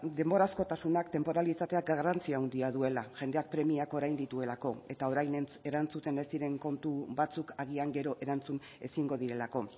denborazkotasunak tenporalitateak garrantzi handia duela jendeak premiak orain dituelako eta orain erantzuten ez diren kontu batzuk agian gero erantzun ezingo direlako